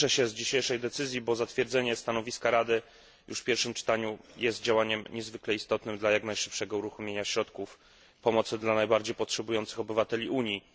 Cieszę się z dzisiejszej decyzji, bo zatwierdzenie stanowiska Rady już w pierwszym czytaniu jest działaniem niezwykle istotnym dla jak najszybszego uruchomienia środków pomocy dla najbardziej potrzebujących obywateli Unii.